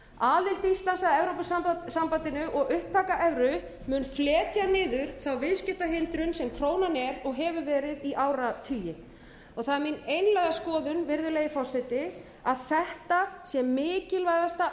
aðild íslands að evrópusambandinu og upptaka evru mun fletja niður þá viðskiptahindrun sem krónan er og hefur verið í áratugi það er mín einlæga skoðun virðulegi forseti að þetta sé mikilvægasta